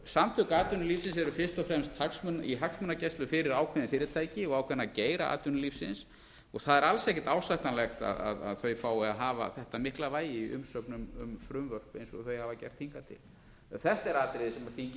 samtök atvinnulífsins eru fyrst og fremst í hagsmunagæslu fyrir ákveðin fyrirtæki og ákveðna geira atvinnulífsins og það er alls ekkert ásættanlegt að þau fái að hafa þetta mikla vægi í umsögnum um frumvörp eins og þau hafa gert hingað til þetta er atriði sem þingið sjálft